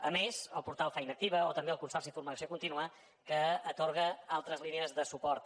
a més el portal feina activa o també el consorci formació contínua que atorga altres línies de suport